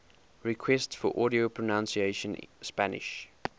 requests for audio pronunciation spanish